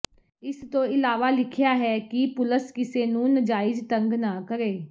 ਇਸਤੋਂ ਇਲਾਵਾ ਲਿਖਿਆ ਹੈ ਕਿ ਪੁਲਸ ਕਿਸੇ ਨੂੰ ਨਜਾਇਜ ਤੰਗ ਨਾ ਕਰੇ